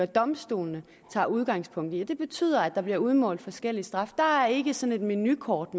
domstolene tager udgangspunkt i og det betyder at der bliver udmålt forskellig straf der er ikke sådan et menukort